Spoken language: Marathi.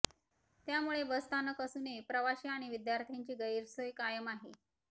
त्यामुळे बसस्थानक असूनही प्रवाशी आणि विद्यार्थ्यांची गैरसोय कायम आहे